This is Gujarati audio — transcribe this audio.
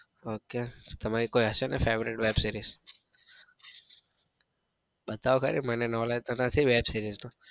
ok તમારી કોઈ હશે ને favourite web series બતાઓ તો ખરી મને knowledge તો નથી વેબ સેરીએસ નું.